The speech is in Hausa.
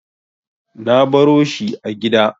Na baro shi a gida.